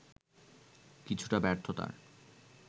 কিছুটা ব্যর্থতার